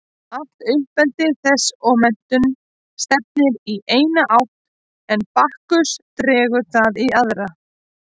Allt uppeldi þess og menntun stefnir í eina átt en Bakkus dregur það í aðra.